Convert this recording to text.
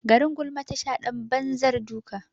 Garin gulma tasha ɗan banzar duka.